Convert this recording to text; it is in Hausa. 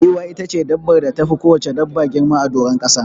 Giwa itace dabbar da tafi kowacce dabba girma a doron ƙasa.